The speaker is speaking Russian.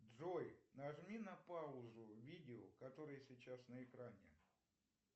джой нажми на паузу видео которое сейчас на экране